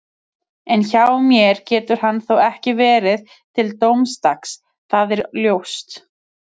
En hjá mér getur hann þó ekki verið til dómsdags, það er ljóst